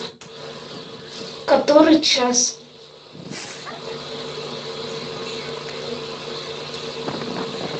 который час